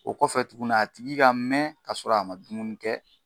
O kɔfɛ tuguni , a tigi ka mɛn ka sɔrɔ a ma dumuni kɛ.